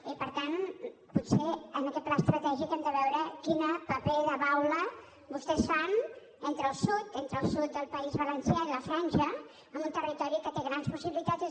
i per tant potser en aquest pla estratègic hem de veure quin paper de baula vostès fan entre el sud entre el sud del país valencià i la franja en un territori que té grans possibilitats